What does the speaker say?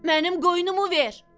"Mənim qoynumu ver!"